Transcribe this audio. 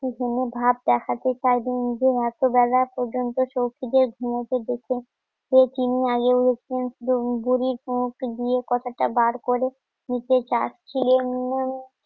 ঘুমো ভাব দেখাতে চাই যে নিজের এত বেলা পর্যন্ত সৌখিদের ঘুম দেখে কে চিনি না বুড়ির মুখ দিয়ে কথাটা বার করে নিচে চাচ্ছিলেন উনি